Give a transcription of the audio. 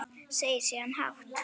Segir síðan hátt: